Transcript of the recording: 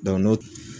n'o